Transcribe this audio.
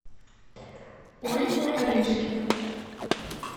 ольгу орешкину